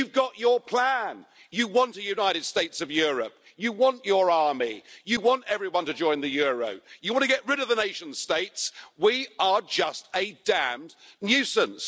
You've got your plan you want a United States of Europe', you want your army, you want everyone to join the euro, you want to get rid of the nation states we're just a damned nuisance.